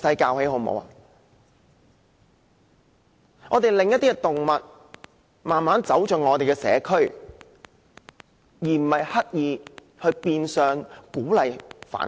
我們應令一些動物慢慢走入我們的社區，而不是刻意變相鼓勵繁殖。